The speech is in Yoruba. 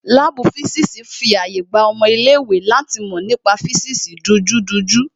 Láàbù físìsì fi àyè gba ọmọ ilé ìwé láti mọ nípa físìsì dunjúdunjú